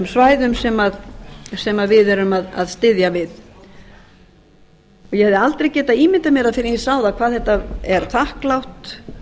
svæðum sem við erum að styðja við ég hefði aldrei getað ímyndað mér fyrr en ég sá það hvað þetta er þakklátt